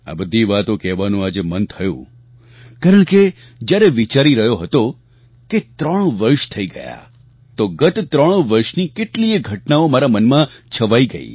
આ બધી વાતો કહેવાનું આજે મન થયું કારણ કે જ્યારે વિચારી રહ્યો હતો કે ત્રણ વર્ષ થઈ ગયા તો ગત ત્રણ વર્ષની કેટલીયે ઘટનાઓ મારા મનમાં છવાઈ ગઈ